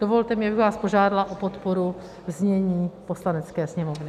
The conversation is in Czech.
Dovolte mi, abych vás požádala o podporu znění Poslanecké sněmovny.